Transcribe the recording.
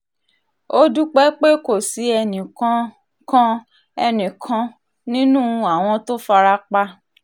ó dúpẹ́ pé kò sí ẹnìkan kan ẹnìkan kan nínú àwọn tó fara pa